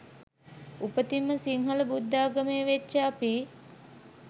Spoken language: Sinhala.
උපතින්ම සින්හල බුද්ධාගමේ වෙච්ච අපි